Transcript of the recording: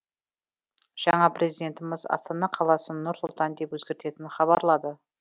жаңа президентіміз астана қаласын нұр сұлтан деп өзгертетінін хабарлады